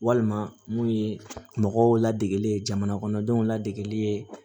Walima mun ye mɔgɔw ladege jamana kɔnɔdenw ladegeli ye